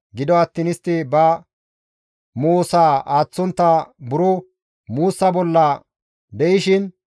Gido attiin istti ba moosaa aaththontta buro muussa bolla de7ishin,